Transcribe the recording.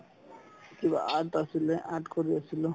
কিবা art আছিলে art কৰি আছিলো